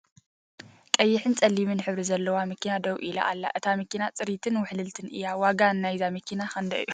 ቀይሕን ፀሊምን ሕብሪ ዘለዋ መኪና ደው ኢላ ኣላ እታ መኪና ፅሪትን ውሕልልትን እያ ። ዋጋ ናይዛ መኪና ክንደይ እዩ ?